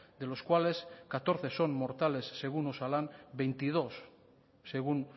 de los cuales catorce son mortales según osalan veintidós según